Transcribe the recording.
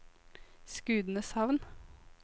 Skudeneshavn